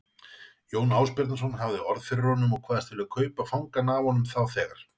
Jón Ásbjarnarson hafði orð fyrir þeim og kvaðst vilja kaupa fangann af honum þá þegar.